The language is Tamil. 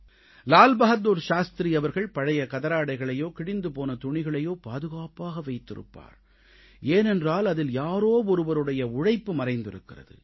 லால் பகதூர் சாஸ்திரி அவர்கள் பழைய கதராடைகளையோ கிழிந்து போன துணிகளையோ பாதுகாப்பாக வைத்திருப்பார் ஏனென்றால் அதில் யாரோ ஒருவருடைய உழைப்பு மறைந்திருக்கிறது